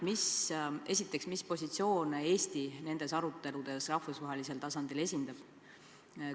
Mis positsioone Eesti nendes aruteludes rahvusvahelisel tasandil esindab?